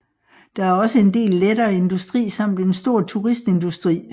Der er også en del lettere industri samt en stor turistindustri